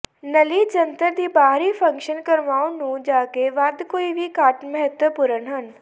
ਨਲੀ ਜੰਤਰ ਦੀ ਬਾਹਰੀ ਫੰਕਸ਼ਨ ਕਰਵਾਉਣ ਨੂੰ ਜਾਕੇ ਵੱਧ ਕੋਈ ਵੀ ਘੱਟ ਮਹੱਤਵਪੂਰਨ ਹੈ